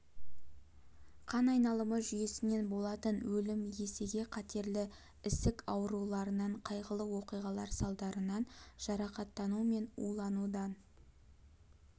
қан айналымы жүйесінен болатын өлім есеге қатерлі ісік ауруларынан қайғылы оқиғалар салдарынан жарақаттану мен уланудан